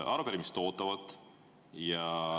Arupärimised ootavad.